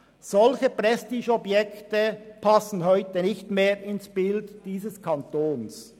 Solche Prestigeobjekte passen heute nicht mehr ins Bild dieses Kantons.